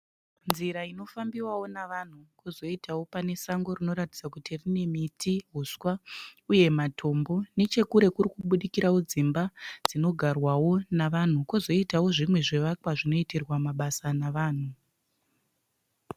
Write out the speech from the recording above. Nzira inofambiwawo navanhu. Kozoitawo pane sango rinoratidza kuti rine miti, huswa uye matombo. Nechekure kuri kubudikirawo dzimba dzinogarwawo nevanhu. Kozoitawo zvimwe zvivakwa zvinoitirwa mabasa navanhu.